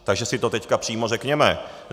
Takže si to teď přímo řekněme.